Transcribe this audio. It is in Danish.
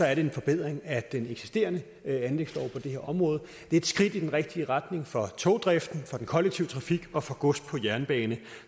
er det en forbedring af den eksisterende anlægslov på det her område det er et skridt i den rigtige retning for togdriften for den kollektive trafik og for gods på jernbane